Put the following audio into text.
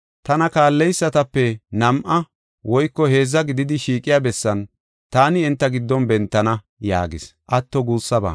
Tana kaalleysatape nam7a woyko heedza gididi shiiqiya bessan taani enta giddon bentana” yaagis.